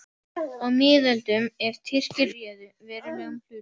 Á miðöldum, er Tyrkir réðu verulegum hluta